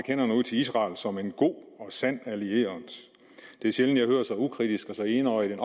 hænderne ud til israel som en god og sand allieret det er sjældent jeg hører så ukritisk og så enøjet en